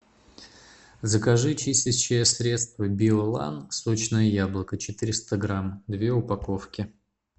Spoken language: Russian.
закажи чистящее средство биолан сочное яблоко четыреста грамм две упаковки